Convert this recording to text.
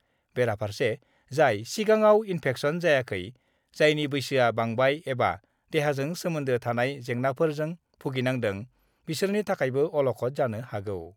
बेराफार्से, जाय सिगाङाव इन्फेक्सन जायाखै, जायनि बैसोआ बांबाय एबा देहाजों सोमोन्दो थानाय जेंनाफोरजों भुगिनांदों बिसोरनि थाखायबो अलखद जानो हागौ।